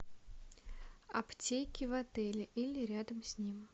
аптеки в отеле или рядом с ним